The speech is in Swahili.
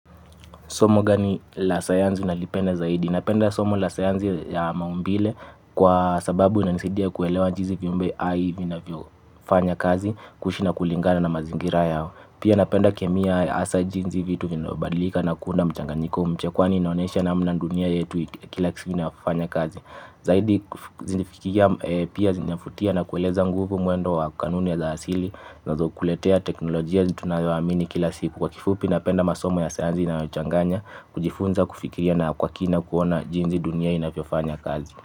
Somo gani la sayansi unalipenda zaidi. Napenda somo la sayansi ya maumbile kwa sababu inanisidia kuelewa jinsi viumbe hai vina vyo fanya kazi kuishi na kulingana na mazingira yao. Pia napenda kemia hasa jinsi vitu vinavyobadilika na kuunda mchanganyiko kwani inaonesha namna dunia yetu kila kitu ina fanya kazi. Zaidi zinifikia pia zinavutia na kueleza nguvu mwendo wa kanuni za asili zinazokuletea teknolojia tunayoamini kila siku kwa kifupi na penda masomo ya sayansi inayochanganya kujifunza kufikiria na kwa kina kuona jinsi dunia inavyofanya kazi.